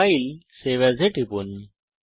ফাইলেগটগট save as টিপুন